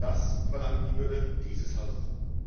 Das verlangt die Würde dieses Hauses.